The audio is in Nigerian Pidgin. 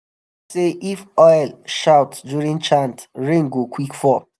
dem talk say if owl shout during chant rain go quick fall.